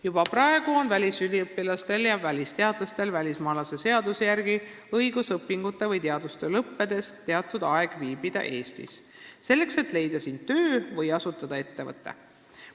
Juba praegu on välisüliõpilastel ja -teadlastel välismaalaste seaduse järgi õigus õpingute või teadustöö lõppedes teatud aeg Eestis viibida, selleks et siin töö leida või ettevõte asutada.